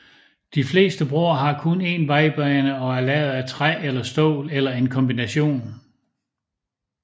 De fleste broer har kun en vejbane og er lavet af træ eller stål eller en kombination